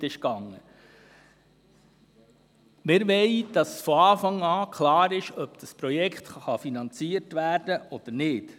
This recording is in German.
Wir wollen, dass von Anfang an klar ist, ob das Projekt finanziert werden kann oder nicht.